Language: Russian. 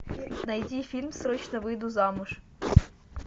найди фильм срочно выйду замуж